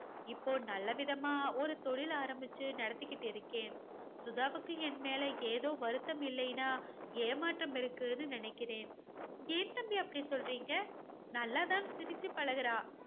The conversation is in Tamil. இப்போ நல்லவிதமா ஒரு தொழில் ஆரம்பிச்சு நடத்திக்கிட்டு இருக்கேன். சுதாவுக்கு என் மேல ஏதோ வருத்தம் இல்லைன்னா ஏமாற்றம் இருக்குன்னு நினைக்கிறேன். ஏன் தம்பி அப்படி சொல்றீங்க? நல்லா தான் சிரிச்சு பழகுறா.